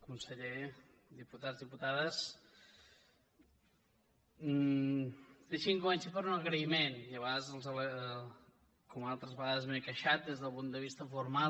conseller diputats diputades deixin que comenci per un agraïment com que altres vegades m’he queixat des del punt de vista formal